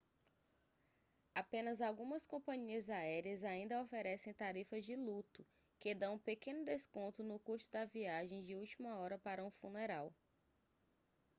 apenas algumas companhias aéreas ainda oferecem tarifas de luto que dão um pequeno desconto no custo da viagem de última hora para um funeral